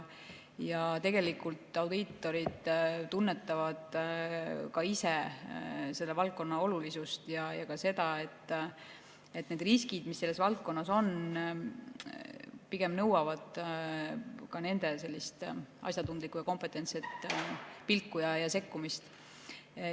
Tegelikult audiitorid tunnetavad ka ise selle valdkonna olulisust ja seda, et need riskid, mis selles valdkonnas on, pigem nõuavad nende asjatundlikku ja kompetentset pilku ja sekkumist.